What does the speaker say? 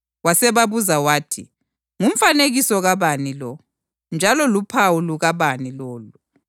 wasebabuza wathi, “Ngumfanekiso kabani lo? Njalo luphawu lukabani lolu?”